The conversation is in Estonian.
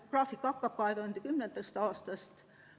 Graafik algab 2010. aastast.